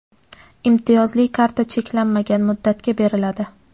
imtiyozli karta cheklanmagan muddatga beriladi.